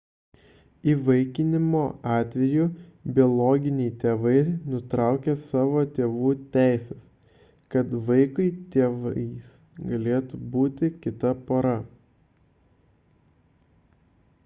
įvaikinimo atveju biologiniai tėvai nutraukia savo tėvų teises kad vaikui tėvais galėtų būti kita pora